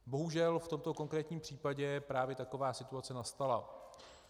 Bohužel v tomto konkrétním případě právě taková situace nastala.